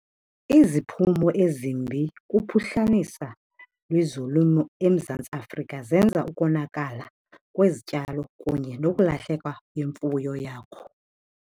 Iziphumo ezimbi kuphuhlanisa lwezolimo eMzantsi Afrika. Zenza ukonakala kwezityalo kunye nokulahleka kwemfuyo yakho.